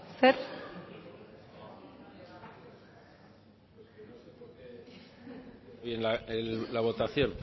zer el la el la votacion